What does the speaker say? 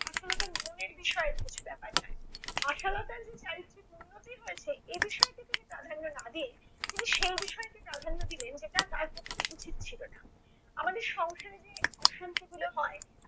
আশালতার নিয়মের বিষয়ে কিছু ব্যাপার না। আশালতার যে চারিত্রিক উন্নতি হয়েছে এ বিষয়টি তিনি প্রাধান্য না দিয়ে তিনি সেই বিষয়টি প্রাধান্য দিলেন যেটা তার পক্ষে উচিত ছিল না। আমাদের সংসারে যে অশান্তি গুলো হয়